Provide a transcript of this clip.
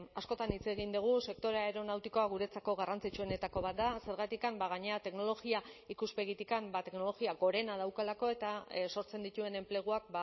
askotan hitz egin dugu sektore aeronautikoa guretzako garrantzitsuenetako bat da zergatik gainera teknologia ikuspegitik teknologia gorena daukalako eta sortzen dituen enpleguak